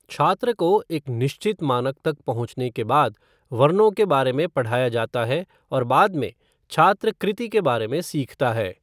छात्र को एक निश्चित मानक तक पहुंचने के बाद, वर्णों के बारे में पढ़ाया जाता है और बाद में, छात्र कृति के बारे में सीखता है।